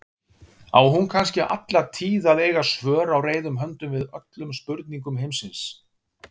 Á hún kannski alla tíð að eiga svör á reiðum höndum við öllum spurningum heimsins?